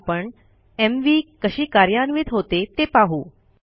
मग आपण एमव्ही कशी कार्यन्वित होते ते पाहू